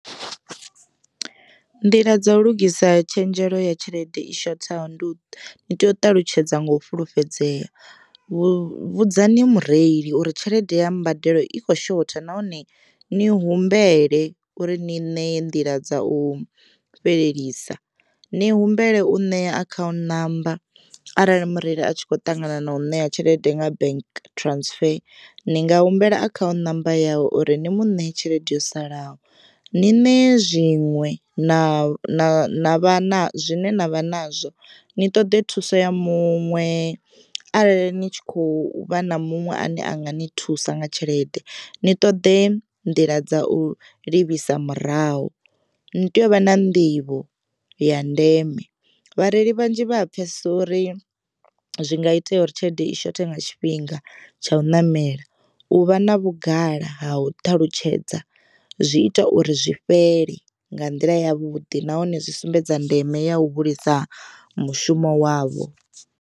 Nḓila dza u lugisa tshenzhelo ya tshelede i shothaho ndi u tea u ṱalutshedza nga u fhulufhedzea vhudzani mureili uri tshelede ya mbadelo i kho shotha nahone ni humbele uri ni ṋee nḓila dza u fhelelisa. Ni humbele u ṋea akhaunthu ṋamba arali mureili a tshi kho ṱangana na u ṋea tshelede nga bank transfer ni nga humbela akhaunthu ṋamba yawe uri ni muṋe tshelede yo salaho. Ni ṋee zwiṅwe na zwine na na vha nazwo ni ṱoḓe thuso ya muṅwe arali ni tshi kho vha na muṅwe ane anga ni thusa nga tshelede ni ṱoḓe nḓila dza u livhisa murahu. Ni tea u vha na nḓivho ya ndeme vhareili vhanzhi vha a pfhesesa uri zwi nga itea uri tshelede i shothe nga tshifhinga tsha u ṋamela, u vha na vhugala ha u ṱalutshedza zwi ita uri zwi fhele nga nḓila ya vhuḓi nahone zwi sumbedza ndeme ya u hulisa mushumo wavho.